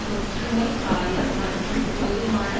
தொற்று நோய் காயம் மற்றும் போதுமான